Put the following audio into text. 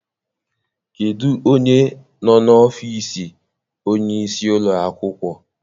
Kedụ onye nọ n'ọfiisi onye isi ụlọ akwụkwọ?